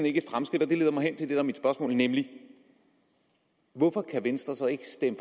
ikke et fremskridt og det leder mig hen til det der er mit spørgsmål nemlig hvorfor kan venstre så ikke stemme